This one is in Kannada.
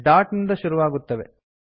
ಡಾಟ್ ನಿಂದ ಶುರುವಾಗುತ್ತವೆ